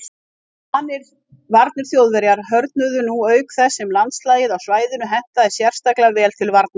Varnir Þjóðverja hörðnuðu nú auk þess sem landslagið á svæðinu hentaði sérstaklega vel til varnar.